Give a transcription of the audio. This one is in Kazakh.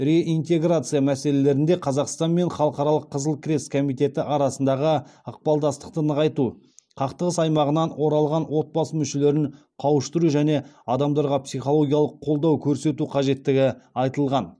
реинтеграция мәселелерінде қазақстан мен халықаралық қызыл крест комитеті арасындағы ықпалдастықты нығайту қақтығыс аймағынан оралған отбасы мүшелерін қауыштыру және адамдарға психологиялық қолдау көрсету қажеттігі айтылған